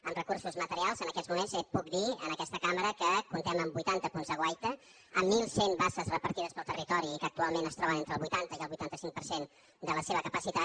en recursos materials en aquests moments puc dir en aquesta cam·bra que comptem amb vuitanta punts de guaita amb mil cent basses repartides pel territori i que actualment es troben entre el vuitanta i vuitanta cinc per cent de la seva capacitat